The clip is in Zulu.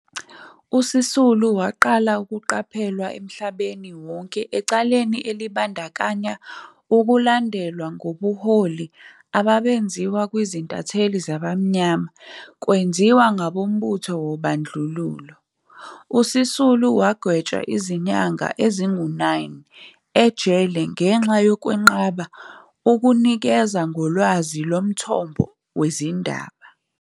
USisulu waqala ukuqaphelwa emhlabeni wonke ecaleni elibandakanya ukulandelwa ngobunhloli ababenziwa kwizintatheli zabamnyama kwenziwa ngabombuzo wobandlululo. USisulu wagwetshwa izinyanga ezingu-9 ejele ngenxa yokwenqaba ukunikeza ngolwazi lomthombo wezindaba.